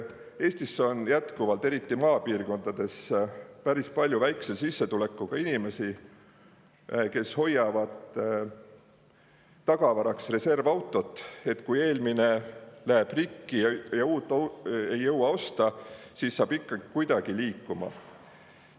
Eestis on jätkuvalt, eriti maapiirkondades, päris palju väikese sissetulekuga inimesi, kes hoiavad tagavaraks reservautot, et kui eelmine läheb rikki ja uut ei jõua osta, siis saab ikka kuidagi liikuma.